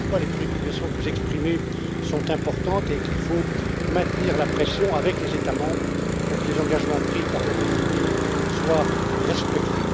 cas. Voilà pourquoi les préoccupations que vous exprimez sont importantes, et il faut maintenir la pression avec les États membres pour que les engagements pris par le Royaume Uni soient respectés.